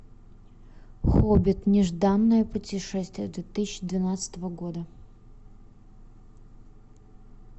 хоббит нежданное путешествие две тысячи двенадцатого года